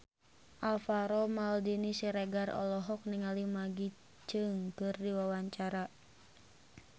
Alvaro Maldini Siregar olohok ningali Maggie Cheung keur diwawancara